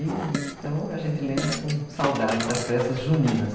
Então, a gente lembra com saudade das festas juninas.